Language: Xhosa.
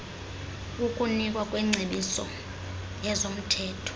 ukunikwa kwengcebiso yezomthetho